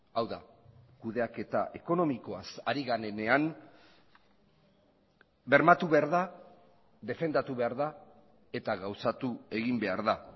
hau da kudeaketa ekonomikoaz ari garenean bermatu behar da defendatu behar da eta gauzatu egin behar da